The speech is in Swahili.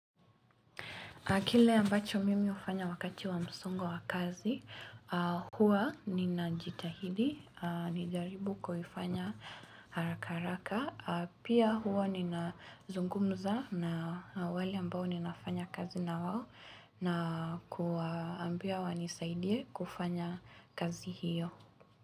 Kile ambacho mimi hufanya wakati wa msongo wa kazi, huwa ninajitahidi, ni jaribu kufanya haraka haraka, pia huwa ninazungumza na wale ambao ninafanya kazi na wao na kuwaambia wanisaidie kufanya kazi hiyo.